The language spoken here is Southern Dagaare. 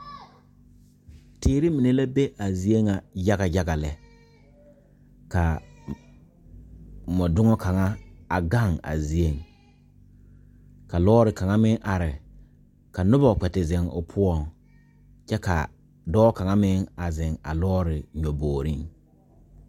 Teere mine la be a zie ŋa yaga yaga lɛ ka mɔdoŋa kaŋa a gaŋ a zieŋ ka lɔɔre kaŋa meŋ are ka noba kpɛ te zeŋ o poɔŋ kyɛ ka dɔɔ kaŋa meŋ a zeŋ a lɔɔre nyɔbogreŋ.